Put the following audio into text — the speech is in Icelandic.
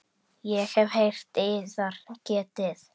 Ég hef heyrt yðar getið.